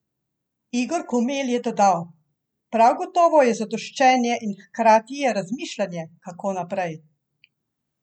Igor Komel je dodal: "Prav gotovo je zadoščenje in hkrati je razmišljanje, kako naprej.